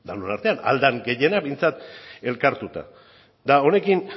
denon artean ahal den gehienak behintzat elkartuta eta honekin